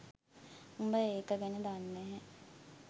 උඹ ඒක ගැන දන්නේ නැ